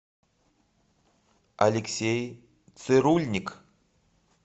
алексей цирульник